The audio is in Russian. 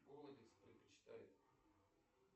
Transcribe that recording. голодец предпочитает